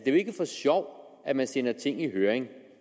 er jo ikke for sjov at man sender ting i høring